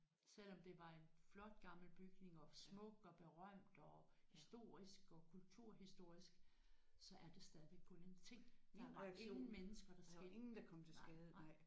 Selvom det var en flot gammel bygning og smuk og berømt og historisk og kulturhistorisk så er det stadigvæk kun en ting der var ingen mennesker der skete nej nej